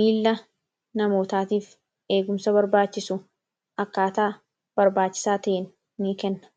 Miila namootaatiif eegumsa barbaachisu akkaataa barbaachisaa ta’een ni kenna.